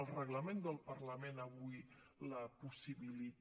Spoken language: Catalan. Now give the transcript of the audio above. el reglament del parlament avui la possibilita